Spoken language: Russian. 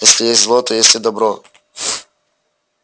если есть зло то есть и добро